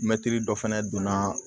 Mɛtiri dɔ fɛnɛ donna